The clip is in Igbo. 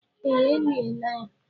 Ee, eliela ya.